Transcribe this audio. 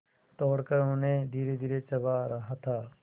तोड़कर उन्हें धीरेधीरे चबा रहा था